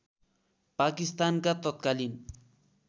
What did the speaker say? पाकिस्तानका तत्कालीन